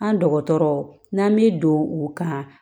An dɔgɔtɔrɔ n'an me don u kan